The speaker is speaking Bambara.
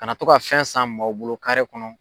Kana to ka fɛn san maaw bolo kɔnɔ.